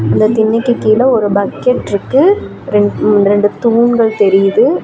அந்தத் திண்ணைக்கு கீழே ஒரு பக்கெட் இருக்கு ரெண்டு தூண்கள் தெரியுது.